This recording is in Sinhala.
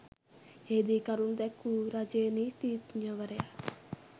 එහිදී කරුණු දැක්වූ රජයේ නීතිඥවරයා